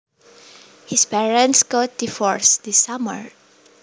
His parents got divorced this summer